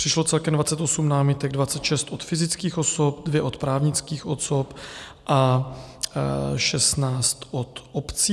Přišlo celkem 28 námitek, 26 od fyzických osob, 2 od právnických osob a 16 od obcí.